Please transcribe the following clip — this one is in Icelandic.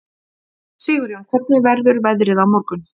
Sigjón, hvernig verður veðrið á morgun?